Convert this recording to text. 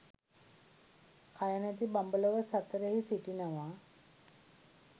කයනැති බඹලොව සතරෙහි සිටිනවා